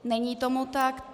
Není tomu tak.